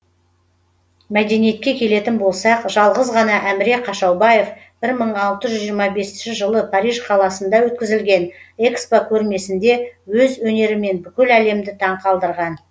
мәдениетке келетін болсақ жалғыз ғана әміре қашаубаев бір мың алты жүз жиырма бесінші жылы париж қаласында өткізілген экспо көрмесінде өз өнерімен бүкіл әлемді таңқалдырған